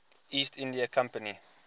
east india company